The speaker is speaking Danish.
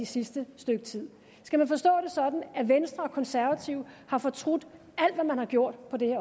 sidste stykke tid skal man forstå det sådan at venstre og konservative har fortrudt alt hvad man har gjort på det